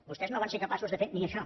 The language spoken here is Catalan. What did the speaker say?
vostès no van ser capaços de fer ni això